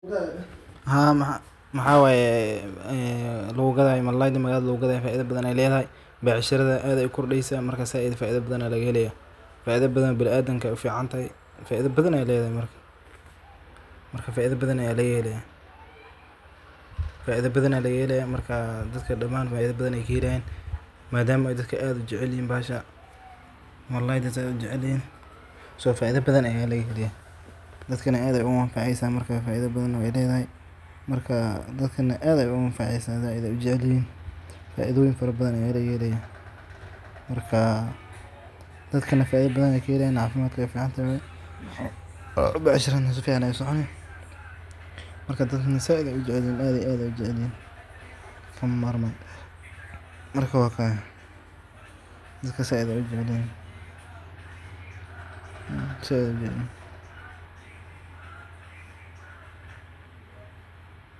Malalayda magalatha lagugadayo becshara ficn aye lethaxy becsharatha aad aye uqordesa marka faida badan aya lagahelaya marka dadka daman faida badan aye kahelayan madama oo dadka aad ujeclyixin baxasha so faida badan aya lagahelaya marka dadkana zaith aye ujeclyixin kama marman.